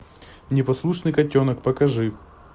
непослушный котенок покажи